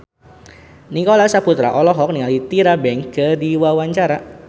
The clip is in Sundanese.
Nicholas Saputra olohok ningali Tyra Banks keur diwawancara